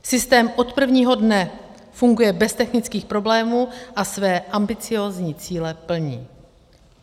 Systém od prvního dne funguje bez technických problémů a své ambiciózní cíle plní.